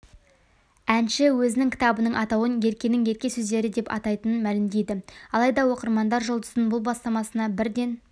әнші өзінің кітабының атауын еркенің ерке сөздері деп атайтынын мәлімдейді алайда оқырмандар жұлдыздың бұл бастамасына бірден